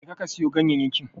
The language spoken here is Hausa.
Je ka, ka siyo ganyayyakin.